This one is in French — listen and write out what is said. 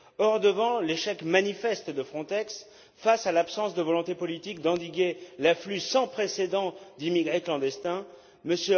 Or, devant l'échec manifeste de Frontex, face à l'absence de volonté politique d'endiguer l'afflux sans précédent d'immigrés clandestins, M.